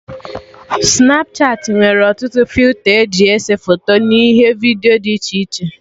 Snapchatị nwere ọtụtụ filta eji ese foto n'ihe vidiyo dị iche iche